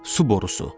Su borusu.